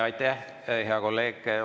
Aitäh, hea kolleeg!